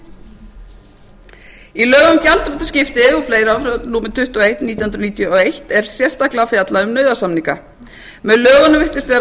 í lögum um gjaldþrotaskipti og fleira númer tuttugu og eitt frá nítján hundruð níutíu og eitt er sérstaklega fjallað um nauðasamninga með lögunum virtist vera